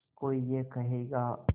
कोई ये कहेगा